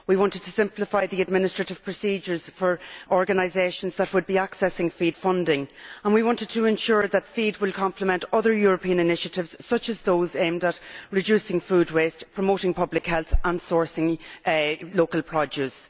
We wanted to simplify the administrative procedures for organisations which would be accessing FEAD funding, and we wanted to ensure that FEAD would complement other European initiatives such as those aimed at reducing food waste, promoting public health and sourcing local produce.